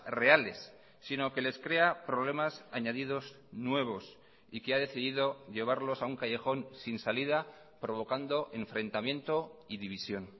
reales sino que les crea problemas añadidos nuevos y que ha decidido llevarlos a un callejón sin salida provocando enfrentamiento y división